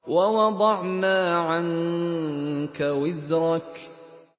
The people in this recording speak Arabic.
وَوَضَعْنَا عَنكَ وِزْرَكَ